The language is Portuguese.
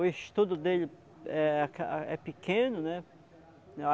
O estudo dele é é pequeno, né?